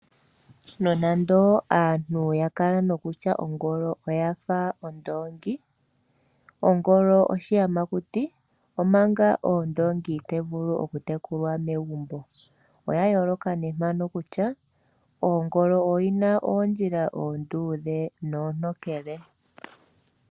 Nonando aantu oya kala nokutya ongolo oya fa ondoongi. Ongolo oshiyamakuti omanga ondongi ohayi vulu okutekulwa megumbo, oya yooloka owala pondjila mpoka ongolo hina oondjila oontokele noondudhe.